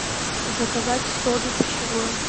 заказать соду пищевую